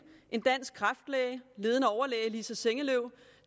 en dansk kræftlæge ledende overlæge lisa sengeløv